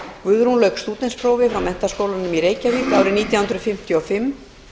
guðrún lauk stúdentsprófi frá menntaskólanum í reykjavík árið nítján hundruð fimmtíu og fimm